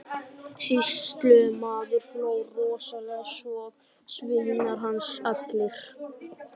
Sýslumaður hló rosalega, svo og sveinar hans allir.